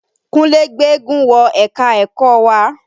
Kúnlè gbéégún wọ ẹ̀ka-ẹ̀kọ wa